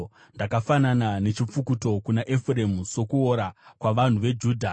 Ndakafanana nechipfukuto kuna Efuremu, sokuora kuvanhu veJudha.